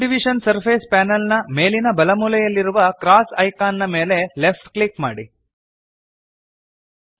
subdivision surface panel ನ ಮೇಲಿನ ಬಲಮೂಲೆಯಲ್ಲಿರುವ ಕ್ರಾಸ್ ಐಕಾನ್ ನ ಮೇಲೆ ಲೆಫ್ಟ್ ಕ್ಲಿಕ್ ಮಾಡಿರಿ